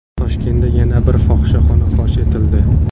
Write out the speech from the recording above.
Toshkentda yana bir fohishaxona fosh etildi.